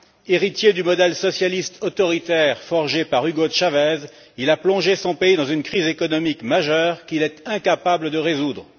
Héritier du modèle socialiste autoritaire forgé par Hugo Chavez, il a plongé son pays dans une crise économique majeure, qu'il est incapable de résoudre.